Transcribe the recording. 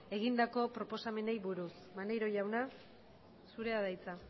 egindako proposamenari buruz maneiro jauna zurea da hitza